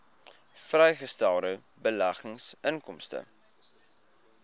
vrygestelde beleggingsinkomste